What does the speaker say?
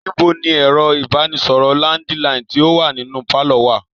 Níbo ni ẹ̀rọ ìbánisọ̀rọ̀ landiline tí o wá nínú pálọ̀ wa?